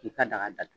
K'i ka daga dat